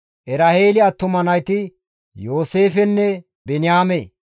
Eraheeli attuma nayti Yooseefenne Biniyaame.